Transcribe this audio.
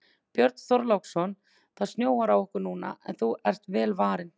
Björn Þorláksson: Það snjóar á okkur núna en þú ert vel varin?